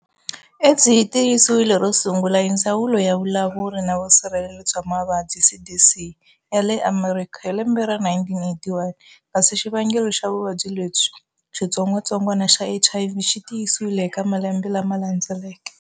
AIDS yi tiyisiwile ro sungula hi Ndzawulo ya vulawuri na vusirheleri bya mavabyi, CDC, yale Amerikha hi lembe ra 1981, kasi xivangelo xa vuvabyi lebyi-xitsongwatsongwana xa HIV xitiyisiwile eka malembe lama landzeleke.